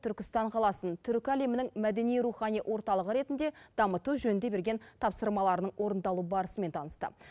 түркістан қаласын түркі әлемінің мәдени рухани орталығы ретінде дамыту жөнінде берген тапсырмаларының орындалу барысымен танысты